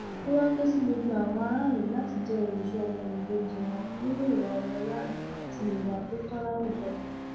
ó wàá ké sí gbogbo àwọn aráàlú láti jẹ olùṣọ ọmọnìkejì wọn nínú ìwà ọmọlúàbí àti ìwà tó tọ láwùjọ